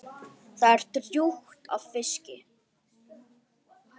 Það er drjúgt af fiski.